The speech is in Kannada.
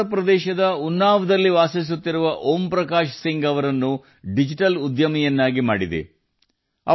ಉತ್ತರಪ್ರದೇಶದ ಉನ್ನಾವೊದ ಶ್ರೀ ಓಂ ಪ್ರಕಾಶ್ ಸಿಂಗ್ ಜೀ ಅವರನ್ನು ಡಿಜಿಟಲ್ ಇಂಡಿಯಾ ಉಪಕ್ರಮವು ಡಿಜಿಟಲ್ ಉದ್ಯಮಿಯನ್ನಾಗಿ ಮಾಡಿದೆ